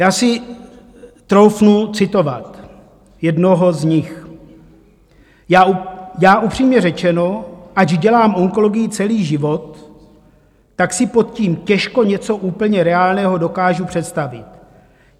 Já si troufnu citovat jednoho z nich: "Já, upřímně řečeno, ač dělám onkologii celý život, tak si pod tím těžko něco úplně reálného dokážu představit.